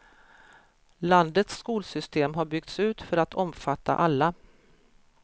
Landets skolsystem har byggts ut för att omfatta alla.